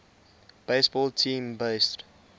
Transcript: baseball team based